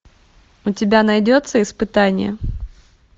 у тебя найдется испытание